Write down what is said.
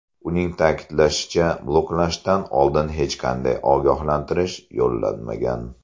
Uning ta’kidlashicha, bloklashdan oldin hech qanday ogohlantirish yo‘llanmagan.